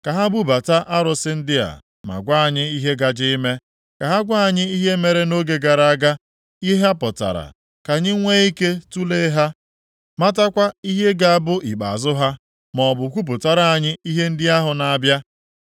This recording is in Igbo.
“Ka ha bubata arụsị ndị a, ma gwa anyị, ihe gaje ime. Ka ha gwa anyị ihe mere nʼoge gara aga, ihe ha pụtara, ka anyị nwee ike tulee ha matakwa ihe ga-abụ ikpeazụ ha. Maọbụ kwupụtara anyị ihe ndị ahụ na-abịa,